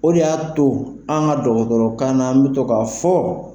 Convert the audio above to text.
O de y'a to an ka dɔgɔtɔrɔkanna, an bɛ to k' a fɔ